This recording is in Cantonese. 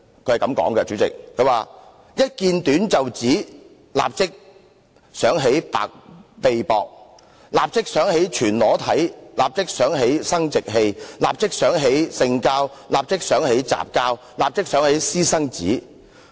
文章是這樣說的："一見短袖子，立刻想到白臂膊，立刻想到全裸體，立刻想到生殖器，立刻想到性交，立刻想到雜交，立刻想到私生子。